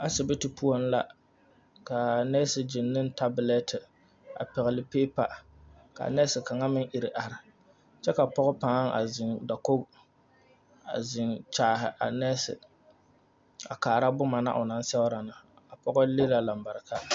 Asibiti poɔŋ la ka a nɛɛse gyeŋ ne o taaboletea a pɛgle piipa ka a nɛɛse kaŋa ehi are kyɛ ka pɔge pãã zeŋ dakogi a zeŋ kyaahi a nɛɛse kyɛ kaara boma na o naŋ sɛgrɛ na pɔge le la lambareka.